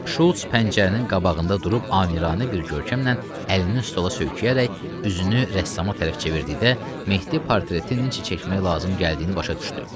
Şults pəncərənin qabağında durub amiranə bir görkəmlə əlini stola söykəyərək üzünü rəssama tərəf çevirdikdə Mehdi portretinin necə çəkmək lazım gəldiyini başa düşdü.